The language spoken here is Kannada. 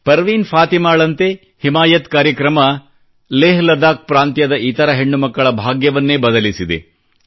ಪರ್ವೀನ್ ಫಾತಿಮಾಳಂತೆ ಹಿಮಾಯತ್ ಕಾರ್ಯಕ್ರಮ ಲೇಹ್ ಲಡಾಕ್ ನ ಪ್ರಾಂತ್ಯದ ಇತರ ಹೆಣ್ಣು ಮಕ್ಕಳ ಭಾಗ್ಯವನ್ನೇ ಬದಲಿಸಿದೆ